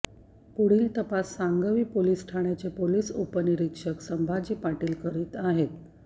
पुढील तपास सांगवी पोलीस ठाण्याचे पोलीस उपनिरीक्षक संभाजी पाटील करीत आहेत